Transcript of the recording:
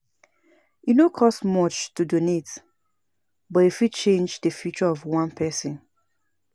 E no cost much to donate, but e fit change the future of one person.